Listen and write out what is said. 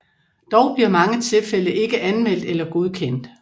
Dog bliver mange tilfælde ikke anmeldt eller godkendt